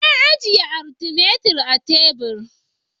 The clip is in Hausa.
Na ajiye "Artimeter " a teburi.